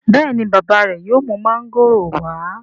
béèni bàbá re yóò mú Mángòrò wa?